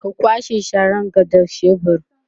ka kwashe Sharan ga da shebur